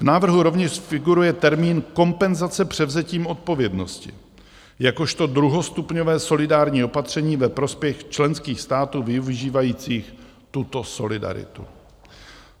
V návrhu rovněž figuruje termín kompenzace převzetím odpovědnosti jakožto druhostupňové solidární opatření ve prospěch členských států využívajících tuto solidaritu.